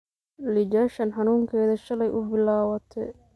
Iijashan xanunkedha shaley uubilawate.